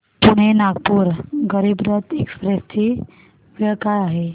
Pune Nagpur Garib Rath express ची वेळ काय आहे